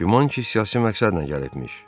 Güman ki, siyasi məqsədlə gəlibmiş.